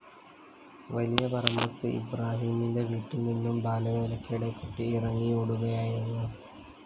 വലിയപറമ്പത്ത് ഇബ്രാഹിമിന്റെ വീട്ടില്‍ നിന്നും ബാലവേലയ്ക്കിടെ കുട്ടി ഇറങ്ങിയോടുകയായിരുന്നു